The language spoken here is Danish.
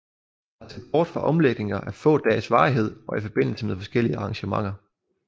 Der er set bort fra omlægninger af få dages varighed og i forbindelse med forskellige arrangementer